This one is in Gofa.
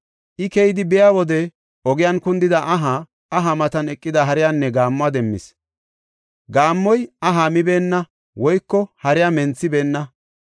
I keyidi biya wode ogiyan kundida aha, aha matan eqida hariyanne gaammuwa demmis. Gaammoy aha mibeenna woyko hariya menthibeenna.